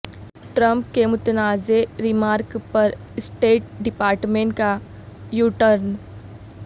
Trump کے متنازعہ remark پر اسٹیٹ ڈپارٹمنٹ کا یوٹرن